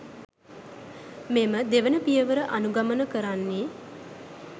මෙම දෙවන පියවර අනුගමන කරන්නේ